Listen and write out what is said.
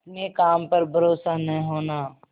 अपने काम पर भरोसा न होना